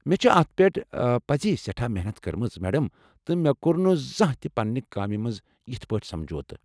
مےٚ چھ اتھ پٮ۪ٹھ پزی سٮ۪ٹھا محنت کٔرمٕژ، میڈم، تہٕ مےٚ کو٘ر نہٕ زانٛہہ تہِ پنٛنہِ کامہِ مَنٛز یتھہٕ پٲٹھۍ سمجھوتہٕ۔